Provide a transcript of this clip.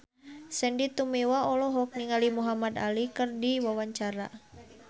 Sandy Tumiwa olohok ningali Muhamad Ali keur diwawancara